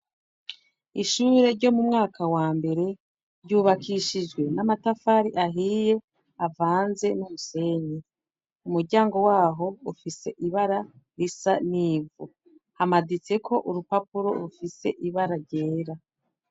Ishure ryo mu mwaka wa mbere, ryubakishijwe n'amatafari ahiye, avanze n'umusenyi. Umuryango w'aho, ufise ibara risa n'ivu. Hamaditseko urupapuro rwera.